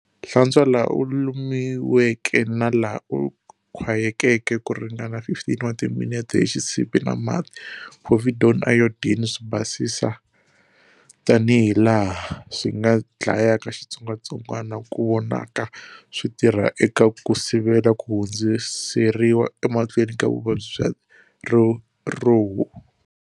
Hlantshwa laha u lumiweke na laha u khwayekeke ku ringana 15 wa timinete hi xisiphi na mati, povidone iodine, swibasisi tanihilaha swi nga dlayaka xitsongwatsongwana ku vonaka swi tirha eka ku sivela ku hundziseriwa emahlweni ka vuvabyi bya riruhu.